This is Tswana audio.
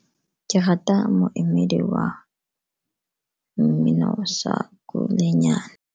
Ke rata moemedi wa mmino wa sa Kulenyane.